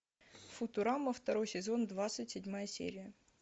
футурама второй сезон двадцать седьмая серия